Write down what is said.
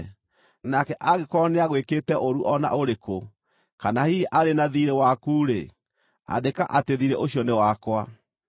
Nake angĩkorwo nĩagwĩkĩte ũũru o na ũrĩkũ, kana hihi arĩ na thiirĩ waku-rĩ, andĩka atĩ thiirĩ ũcio nĩ wakwa.